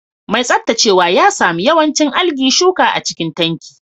Mai tsaftacewa ya sami yawancin algae shuka a cikin tanki